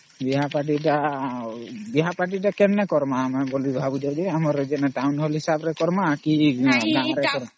ବିହା Partyତା ଆଉ ବିହା Party ତା କେମିତି କରମା କେ ଭାବୁଛ ଆମର ହିସାବ ରେ କରମା କି ଅମ୍